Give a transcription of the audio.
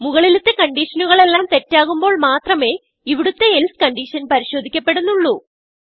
മുകളിലത്തെ കൺഡിഷനുകളെല്ലാം തെറ്റാകുമ്പോൾ മാത്രമേ ഇവിടുത്തെ എൽസെ കണ്ടീഷൻ പരിശോദിക്കപ്പെടുന്നുള്ളൂ